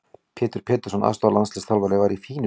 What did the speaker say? Pétur Pétursson aðstoðarlandsliðsþjálfari var í fínu skapi.